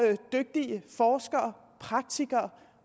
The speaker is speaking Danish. dygtige forskere og praktikere